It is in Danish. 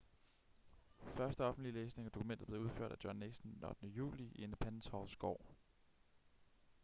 første offentlige læsning af dokumentet blev udført af john nixon den 8. juli i independence halls gård